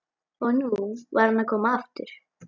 Og nú var hann að koma aftur!